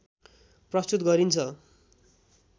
प्रस्तुत गरिन्छ